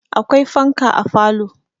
Akwai fanka a falo.